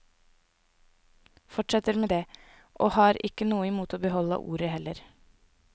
Fortsetter med det, og har ikke noe imot å beholde ordet heller.